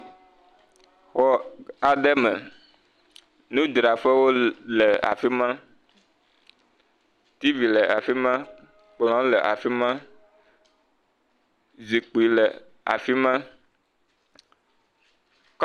Xɔ aɖe me. Nudraƒewo le afi ma. Tiivi le afi ma. Kplɔ̃ le afi ma. Zikpi le afi ma.